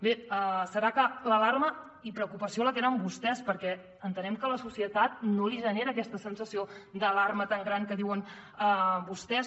bé serà que l’alarma i preocupació la tenen vostès perquè entenem que a la societat no li genera aquesta sensació d’alarma tan gran que diuen vostès